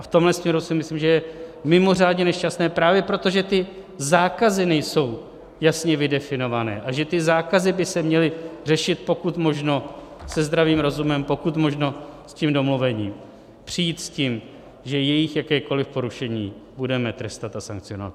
A v tomhle směru si myslím, že je mimořádně nešťastné právě proto, že ty zákazy nejsou jasně vydefinované a že ty zákazy by se měly řešit pokud možno se zdravým rozumem pokud možno s tím domluvením, přijít s tím, že jejich jakékoliv porušení budeme trestat a sankcionovat.